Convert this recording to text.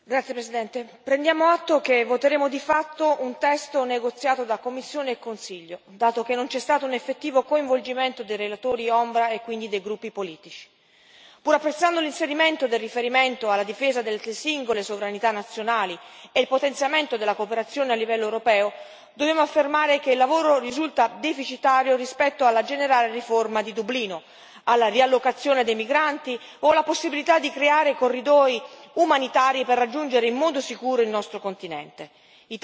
Signora Presidente, onorevoli colleghi, prendiamo atto che voteremo di fatto un testo negoziato da Commissione e Consiglio, dato che non c'è stato un effettivo coinvolgimento dei relatori ombra e quindi dei gruppi politici. Pur apprezzando l'inserimento del riferimento alla difesa delle singole sovranità nazionali e il potenziamento della cooperazione a livello europeo, dobbiamo affermare che il lavoro risulta deficitario rispetto alla generale riforma di Dublino, alla riallocazione dei migranti o alla possibilità di creare corridoi umanitari per raggiungere in modo sicuro il nostro continente.